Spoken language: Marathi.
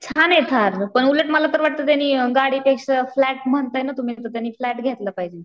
छाने थार. पण उलट मला तर वाटत त्यांनी गाडी पेक्षा फ्लॅट म्हणताय ना तुम्ही तो त्यांनी फ्लॅट घेतला पाहिजे.